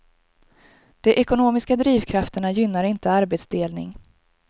De ekonomiska drivkrafterna gynnar inte arbetsdelning.